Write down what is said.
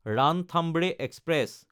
Ranthambore express